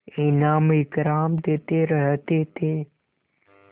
इनाम इकराम देते रहते थे